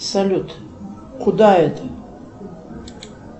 салют куда это